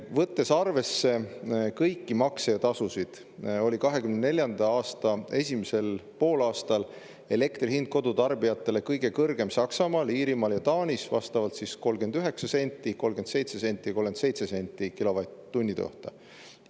Võttes arvesse kõiki makse ja tasusid, oli 2024. aasta esimesel poolaastal elektri hind kodutarbijatel kõige kõrgem Saksamaal, Iirimaal ja Taanis, vastavalt 39 senti, 37 senti ja 37 senti kilovatt-tunni kohta.